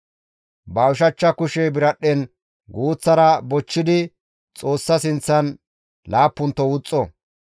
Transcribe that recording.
Ba ushachcha kushe biradhdhen guuththara bochchidi Xoossa sinththan laappunto wuxxo.